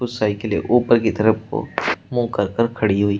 साइकिले ऊपर की तरफ को मुंह कर कर खड़ी हुई--